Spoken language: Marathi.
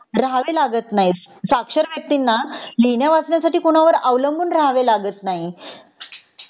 राहावे लागत नाही साक्षर व्यक्तींना लिहिण्या वाचण्यासाठी कुणावर अवलंबून राहावे लागत नाही